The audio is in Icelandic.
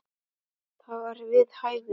Það var við hæfi.